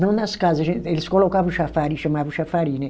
Não nas casas, eles colocavam chafariz, chamavam chafariz, né.